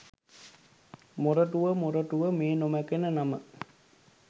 මොරටුව මොරටුව මේ නොමැකෙන නම